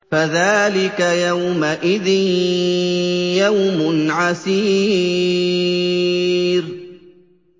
فَذَٰلِكَ يَوْمَئِذٍ يَوْمٌ عَسِيرٌ